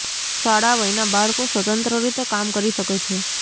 શાળા વયના બાળકો સ્વતંત્ર રીતે કામ કરી શકે છે